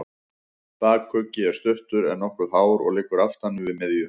Bakuggi er stuttur, en nokkuð hár og liggur aftan við miðju.